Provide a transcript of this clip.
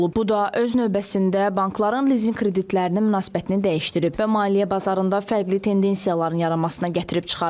Bu da öz növbəsində bankların lizinq kreditlərinə münasibətini dəyişdirib və maliyyə bazarında fərqli tendensiyaların yaranmasına gətirib çıxarıb.